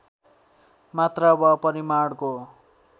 मात्रा वा परिमाणको